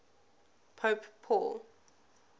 pope paul